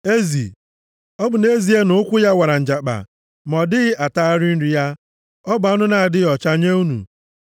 Ezi: Ọ bụ nʼezie na ụkwụ ya wara njakpa ma ọ dịghị atagharị nri ya. Ọ bụ anụ na-adịghị ọcha nye unu.